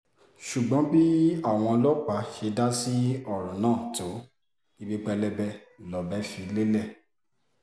ṣùgbọ́n bí àwọn ọlọ́pàá ṣe dá sí ọ̀rọ̀ náà tó ibi pẹlẹbẹ lọ̀bẹ fi lélẹ̀